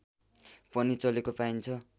पनि चलेको पाइन्छ